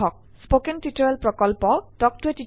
কথন শিক্ষণ প্ৰকল্প তাল্ক ত a টিচাৰ প্ৰকল্পৰ এটা অংগ